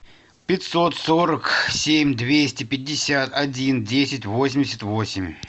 пятьсот сорок семь двести пятьдесят один десять восемьдесят восемь